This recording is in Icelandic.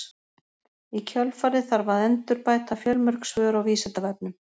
í kjölfarið þarf að endurbæta fjölmörg svör á vísindavefnum